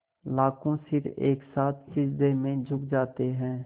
लाखों सिर एक साथ सिजदे में झुक जाते हैं